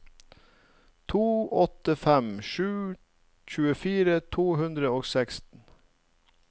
to åtte fem sju tjuefire to hundre og seksten